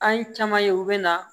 An ye caman ye u bɛ na